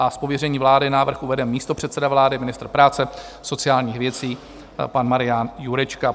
Z pověření vlády návrh uvede místopředseda vlády ministr práce a sociálních věcí pan Marian Jurečka.